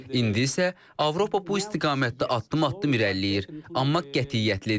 İndi isə Avropa bu istiqamətdə addım-addım irəliləyir, amma qətiyyətlidir.